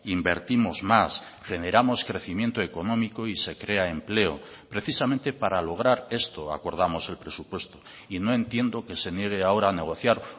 invertimos más generamos crecimiento económico y se crea empleo precisamente para lograr esto acordamos el presupuesto y no entiendo que se niegue ahora a negociar